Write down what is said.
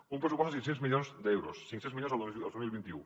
i un pressupost de cinc cents milions d’euros cinc cents milions el dos mil vint u